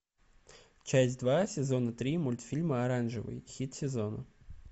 часть два сезона три мультфильма оранжевый хит сезона